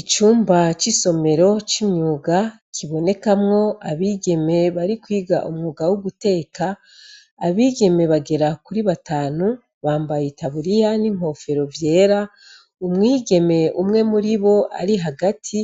Icumba c'isomero c'imyuga kibonekamwo abigeme barikwiga umwuga woguteka. Abigeme bagera kuri batanu bambaye itaburiya n'inkofero vyera; umwigeme umwe muribo ari hagati